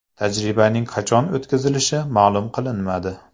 Tajribaning qachon o‘tkazilishi ma’lum qilinmadi.